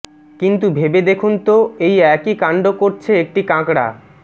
কিন্তু ভেবে দেখুন তো এই একই কাণ্ড করছে একটি কাঁকড়া